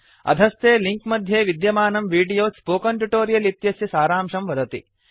अधस्थे लिंक मध्ये विद्यमानं वीडियो स्पोकन ट्युटोरियल् इत्यस्य सारांशं वदति